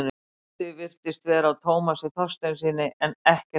Brotið virtist vera á Tómasi Þorsteinssyni en ekkert dæmt.